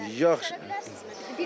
Gələndə bilə bilərsinizmi?